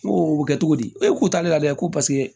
N ko o bɛ kɛ cogo di e k'u t'ale la dɛ ko paseke